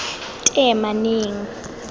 teemaneng